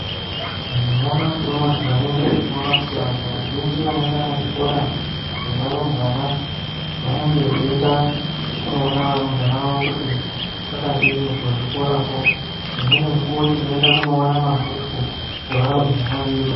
Nyamashi unoo tikaringire tinoona kuti antu azhinji vanoenda kuzvikoro muzvikora zvevarumbwana vanenge veienda kunoona kuti kwakadini kuzvikorako. Umweni mukuwo tinoenda kunoona mabhuku evarumbwana vedu.